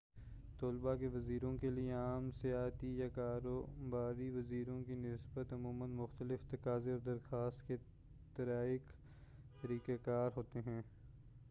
طلبہ کے ویزوں کے لیے عام سیاحتی یا کاروباری ویزوں کی نسبت عموماً مختلف تقاضے اور درخواست کے طریق کار ہوتے ہیں